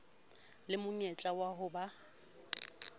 le monyetla wa ho ba